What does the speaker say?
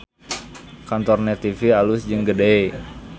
Kantor Net TV alus jeung gede